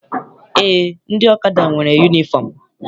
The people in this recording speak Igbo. Eé, ndị ọkada nwere yunifọm.